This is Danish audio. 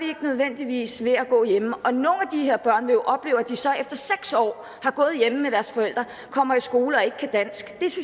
nødvendigvis ved at gå hjemme og når de her børn oplever at de så efter seks år har gået hjemme med deres forældre kommer i skole og ikke kan dansk så synes